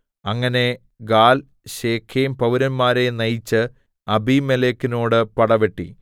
അങ്ങനെ Gaal‍ Shechem പൌരന്മാരെ നയിച്ച് അബീമേലെക്കിനോട് പടവെട്ടി